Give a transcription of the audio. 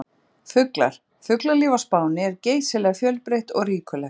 Fuglar: Fuglalíf á Spáni er geysilega fjölbreytt og ríkulegt.